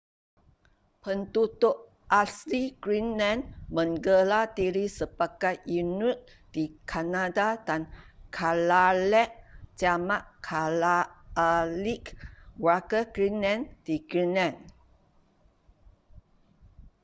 penduduk asli greenland menggelar diri sebagai inuit di kanada dan kalaalleq jamak kalaallit warga greenland di greenland